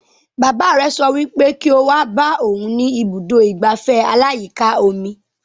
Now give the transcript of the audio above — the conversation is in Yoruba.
Bàbá rẹ̀ sọ wípé kí o wá bá òhun ní ibùdó ìgbafẹ́ aláyíká omi